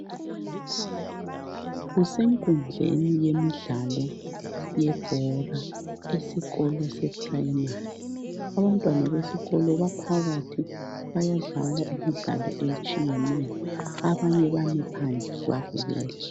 Kusenkundleni yemidlalo yebhora esikolo seprimary. Abantwana besikolo baphakathi bayadlala imidlalo etshiyeneyo, abanye bami phandle babukele.